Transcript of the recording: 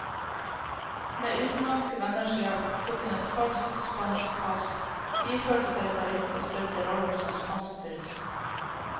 Med utenlandske venners hjelp fikk hun et falskt spansk pass, iførte seg parykk og spilte rollen som spansk turist.